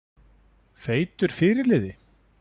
Feitur fyrirliði?